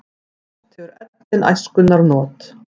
Oft hefur ellin æskunnar not.